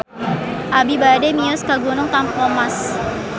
Abi bade mios ka Gunung Tampomas